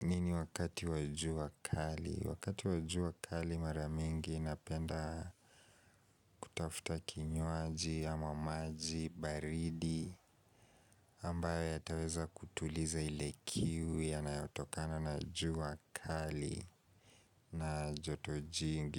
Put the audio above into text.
nini wakati wa jua kali? Wakati wa juwa kali maramingi inapenda kutafuta kinyoaji ama maji, baridi ambayo yataweza kutuliza ile kiu yanayotokana na juwa kali na joto jingi.